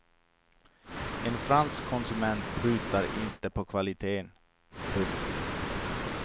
En fransk konsument prutar inte på kvaliteten. punkt